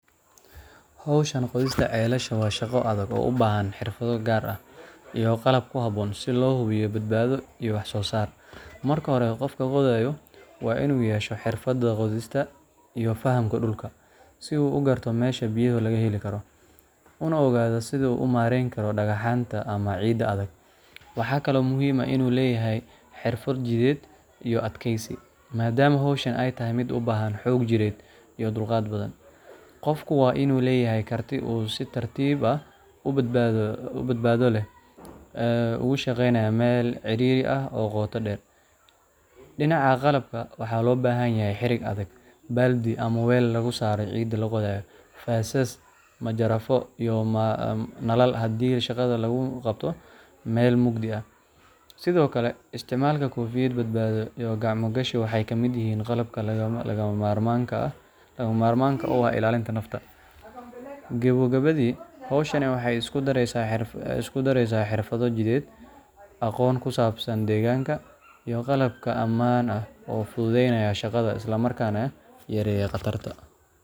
Hawshan qodista ceelasha waa shaqo adag oo u baahan xirfado gaar ah iyo qalab ku habboon si loo hubiyo badbaado iyo wax-soo-saar. Marka hore, qofka qodayaa waa inuu yeeshaa xirfadda qodista iyo fahamka dhulka, si uu u garto meesha biyaha laga heli karo, una ogaado sida uu u maarayn karo dhagaxaanta ama ciidda adag. Waxaa kaloo muhiim ah in uu leeyahay xirfad jidheed iyo adkaysi, maadaama hawshani ay tahay mid u baahan xoog jireed iyo dulqaad badan. Qofku waa inuu leeyahay karti uu si tartiib ah oo badbaado leh ugu shaqeeyo meel cidhiidhi ah oo qoto dheer. Dhinaca qalabka, waxaa loo baahan yahay xadhig adag, baaldi ama weel lagu saaro ciidda la qodayo, faasas, majarafado, iyo nalal haddii shaqada lagu qabto meel mugdi ah. Sidoo kale, isticmaalka koofiyad badbaado iyo gacmo gashi waxay ka mid yihiin qalabka lagama maarmaanka u ah ilaalinta nafta. Gebogebadii, hawshan waxay isku daraysaa xirfado jidheed, aqoon ku saabsan deegaanka, iyo qalab ammaan ah oo fududaynaya shaqada isla markaana yareeya khataraha.